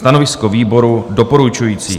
Stanovisko výboru: doporučující.